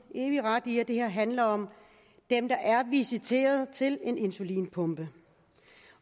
evig ret i at det her handler om dem der er visiteret til en insulinpumpe